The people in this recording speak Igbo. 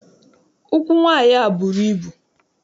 Ụkwụ nwaanyị a bụrụ ibu.